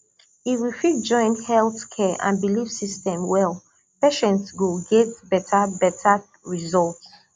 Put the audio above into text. if we fit join health care and belief system well patients go get better better result